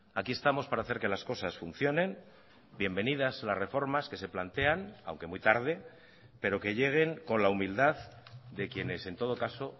aquí estamos para hacer que las cosas funcionen bienvenidas las reformas que se plantean aunque muy tarde pero que lleguen con la humildad de quienes en todo caso